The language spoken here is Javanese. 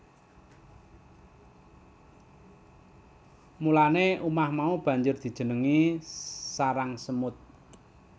Mulane umah mau banjur dijenengi sarang semut